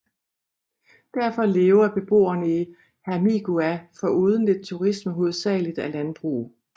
Derfor lever beboerne i Hermigua foruden lidt turisme hovedsageligt af landbrug